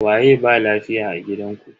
Waye ba lafiya a gidanku?